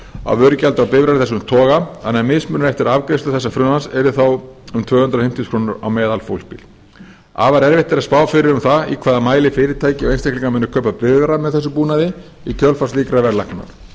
á bifreiðar af þessum toga þannig að mismunurinn eftir afgreiðslu þessa frumvarps yrði þá um tvö hundruð fimmtíu þúsund krónur á meðalfólksbíl afar erfitt er að spá fyrir um það í hvaða mæli fyrirtæki og einstaklingar muni kaupa bifreiðar með þessum búnaði í kjölfar slíkrar verðlækkunar